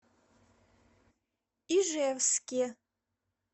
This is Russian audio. ижевске